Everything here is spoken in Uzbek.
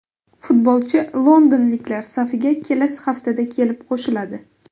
Futbolchi londonliklar safiga kelasi haftada kelib qo‘shiladi.